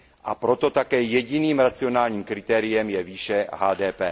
A proto také jediným racionálním kritériem je výše HDP.